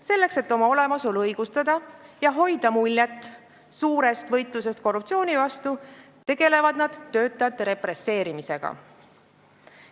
Selleks et oma olemasolu õigustada ja hoida muljet, nagu toimuks suur võitlus korruptsiooni vastu, tegelevad nad töötajate represseerimisega.